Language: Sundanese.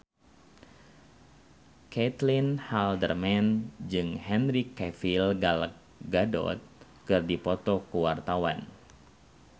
Caitlin Halderman jeung Henry Cavill Gal Gadot keur dipoto ku wartawan